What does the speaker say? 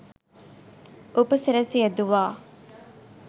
උපසිරැසි යෙදුවා..